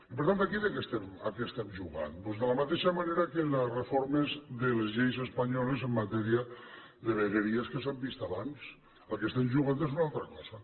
i per tant aquí a què estem jugant doncs de la mateixa manera que les reformes de les lleis espanyoles en matèria de vegueries que s’han vist abans al que estem jugant és a una altra cosa